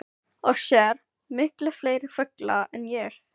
Og sér miklu fleiri fugla en ég.